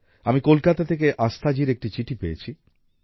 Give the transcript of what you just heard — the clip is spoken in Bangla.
আমি কলকাতা থেকে আস্থাজির একটি চিঠি পেয়েছি